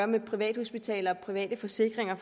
med privathospitaler og med private forsikringer at